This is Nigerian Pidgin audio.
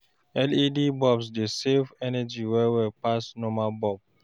LED bulbs dey save energy well well pass normal bulb